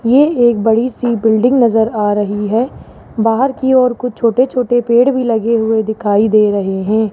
ये एक बड़ी सी बिल्डिंग नजर आ रही है बाहर की ओर कुछ छोटे छोटे पेड़ भी लगे हुए दिखाई दे रहे हैं।